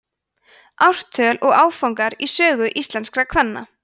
ártöl og áfangar í sögu íslenskra kvenna